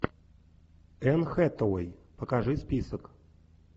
энн хэтэуэй покажи список